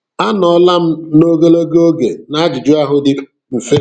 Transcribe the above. A nọọla m ogologo oge n'ajụjụ ahụ dị mfe.